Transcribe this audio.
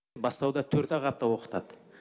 бастауда төрт ақ апта оқытады